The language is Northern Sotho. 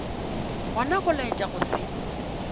gona go laetša go se